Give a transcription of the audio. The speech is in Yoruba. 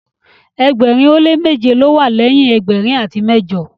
ẹgbẹrin o le meje ló wà leyin ẹgbẹrin ati mẹjọ